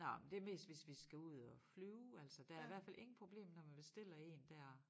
Nåh men det mest hvis vi skal ud og flyve altså der i hvert fald ingen problemer når man bestiller én dér